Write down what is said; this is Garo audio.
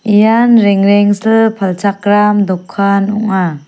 ian rengrengsil palchakram dokan ong·a.